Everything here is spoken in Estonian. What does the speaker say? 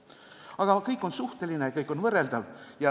Aga kõik on suhteline ja kõik on võrreldav.